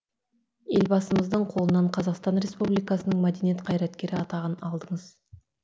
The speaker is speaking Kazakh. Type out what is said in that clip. елбасымыздың қолынан қазақстан республикасының мәдениет қайраткері атағын алдыңыз